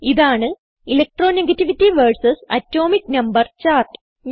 ഇതാണ് electronegativity versus atomic number chart